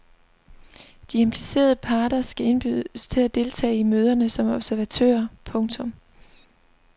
De implicerede parter skal indbydes til at deltage i møderne som observatører. punktum